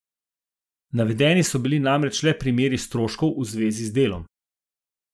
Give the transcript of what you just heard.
Navedeni so bili namreč le primeri stroškov v zvezi z delom.